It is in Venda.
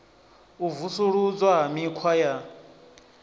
u vusuludzwa ha mikhwa ya